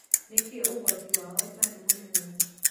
Nĩkĩ ũgwati wao ũtarĩ mũnene?